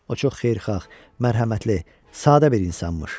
O çox xeyirxah, mərhəmətli, sadə bir insanmış.